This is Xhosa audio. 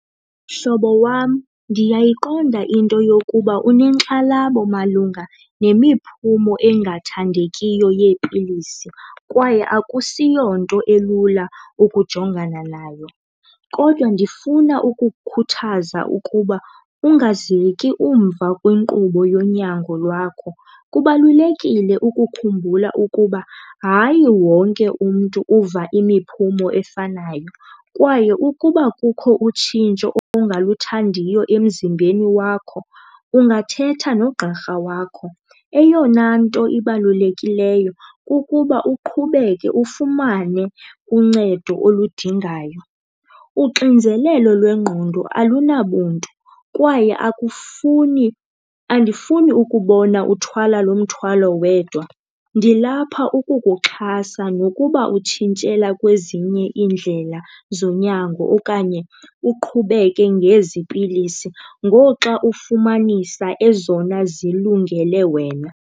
Mhlobo wam, ndiyayiqonda into yokuba unenkxalabo malunga nemiphumo engathandekiyo yeepilisi kwaye akusiyonto elula ukujongana nayo. Kodwa ndifuna ukukhuthaza ukuba ungaziyeki umva kwinkqubo yonyango lwakho. Kubalulekile ukukhumbula ukuba hayi wonke umntu uva imiphumo efanayo kwaye ukuba kukho utshintsho ongaluthandiyo emzimbeni wakho, ungathetha nogqirha wakho. Eyona nto ibalulekileyo kukuba uqhubeke ufumane uncedo oludingayo. Uxinzelelo lwengqondo alunabuntu kwaye akufuni andifuni ukubona uthwala lo mthwalo wedwa, ndilapha ukukuxhasa nokuba utshintshela kwezinye iindlela zonyango okanye uqhubeke ngezi pilisi ngoxa ufumanisa ezona zilungele wena.